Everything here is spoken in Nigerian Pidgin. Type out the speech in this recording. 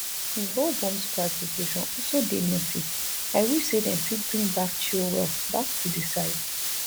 di whole bomb squad situation also dey messy i wish say dem fit bring back chilwell back to di side